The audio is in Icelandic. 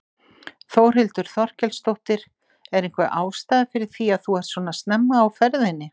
Þórhildur Þorkelsdóttir: Er einhver ástæða fyrir því að þú ert svona snemma á ferðinni?